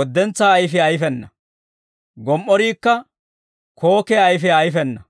woddentsaa ayfiyaa ayfena; gomi"oriikka kookkiyaa ayfiyaa ayfena.